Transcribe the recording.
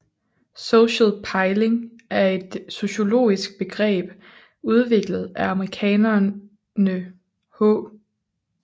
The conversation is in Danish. Social pejling er et sociologisk begreb udviklet af amerikanerne H